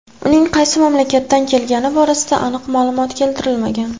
Uning qaysi mamlakatdan kelgani borasida aniq ma’lumot keltirilmagan.